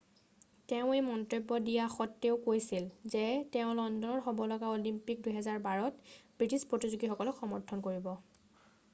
তেওঁ এই মন্তব্য দিয়া সত্ত্বেও কৈছিল যে তেওঁ লণ্ডনত হ'ব লগা অলিম্পিক 2012ত ব্রিটিছ প্রতিযোগীসকলক সমর্থন কৰিব